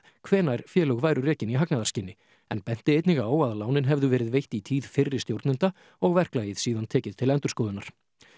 hvenær félög væru rekin í hagnaðarskyni en benti einnig á að lánin hefðu verið veitt í tíð fyrri stjórnenda og verklagið síðan tekið til endurskoðunar